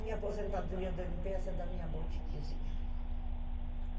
Minha aposentadoria do ene pê esse é da minha botiquizinha.